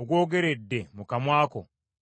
ogwogeredde mu kamwa ko?